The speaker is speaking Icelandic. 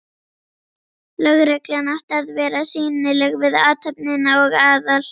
Lögreglan átti að vera sýnileg við athöfnina og Aðal